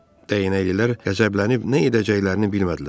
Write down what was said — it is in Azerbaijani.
Dəyənəklilər qəzəblənib nə edəcəklərini bilmədilər.